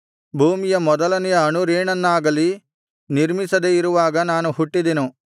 ಭೂಮಿಯ ಮೊದಲನೆಯ ಅಣುರೇಣನ್ನಾಗಲಿ ನಿರ್ಮಿಸದೆ ಇರುವಾಗ ನಾನು ಹುಟ್ಟಿದೆನು